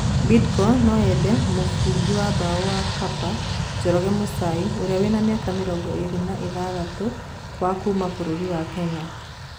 (Riũa)Bidco no yende mũbũngi wa mbao wa Kapa, Njoroge Mũchai urĩa wina miaka mĩrongo ĩrĩ na ithathatu wa kuuma bũrũri wa Kenya.